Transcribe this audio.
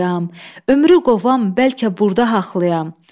Ömrü qovam bəlkə burda haxlayam.